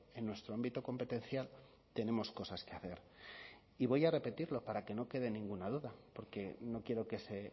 en nuestro ámbito competencial tenemos cosas que hacer y voy a repetirlo para que no quede ninguna duda porque no quiero que se